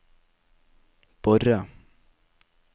Borre